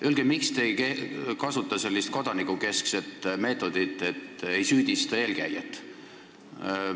Öelge, miks te ei kasuta sellist kodanikukeskset meetodit nagu eelkäija süüdistamine.